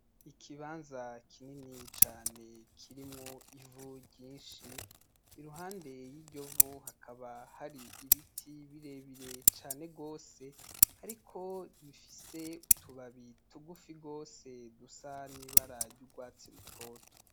Ikibanza kinini cane kirimwo Ivu ryishi iruhande yiryovu hakaba hari ibiti birebire cane gose ariko bifise utubabi tugufi gose dusa n'ibara ry'urwatsi rutoto